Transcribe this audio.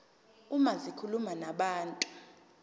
uma zikhuluma nabantu